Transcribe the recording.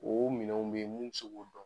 O minɛnw be yen mun mi se k'o dɔn.